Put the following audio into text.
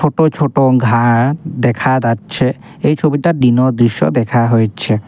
ছোট ছোট ঘা দেখা যাচ্ছে এই ছবিটা দিনর দৃশ্য দেখা হইছে।